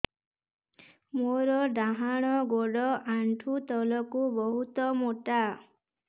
ମୋର ଡାହାଣ ଗୋଡ ଆଣ୍ଠୁ ତଳୁକୁ ବହୁତ ମୋଟା